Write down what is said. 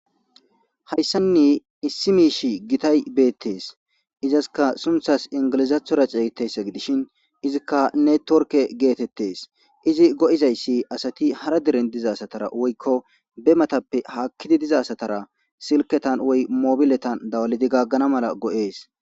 Hayssanni issi miish gitay beettes izaska sunthas ingilizathora ceygitessa gidishin izikka ne torke geetettes izi go'izayssi asati hara diren dizasatara woykko be matappe haakkidi dizasatara silketan woy mobiletan dawalidi gaggana mala go'ees